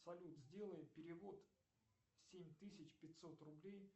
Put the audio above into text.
салют сделай перевод семь тысяч пятьсот рублей